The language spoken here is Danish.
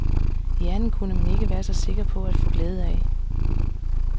Hjernen kunne man ikke være så sikker på at få glæde af.